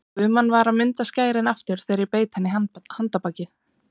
Guðmann var að munda skærin aftur þegar ég beit hann í handarbakið.